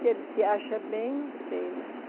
Se ele se acha bem, não sei, mas...